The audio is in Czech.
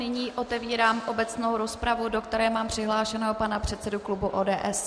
Nyní otevírám obecnou rozpravu, do které mám přihlášeného pana předsedu klubu ODS.